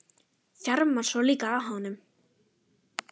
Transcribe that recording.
Þjarmar svona líka að honum!